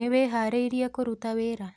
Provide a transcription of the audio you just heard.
Nĩwĩharĩirie kũruta wĩra?